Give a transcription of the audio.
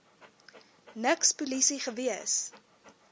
niks polisie gewees